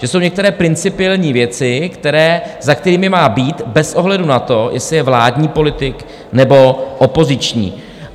Že jsou některé principiální věci, za kterými má být bez ohledu na to, jestli je vládní politik, nebo opoziční.